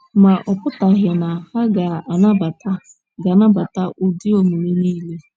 Ma, ọ pụtaghị na ha ga - anabata ga - anabata ụdị omume niile.